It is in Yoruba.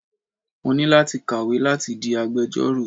Mo ní láti kàwé láti di agbejọ́rò.